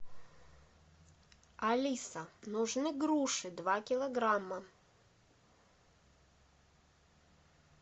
алиса нужны груши два килограмма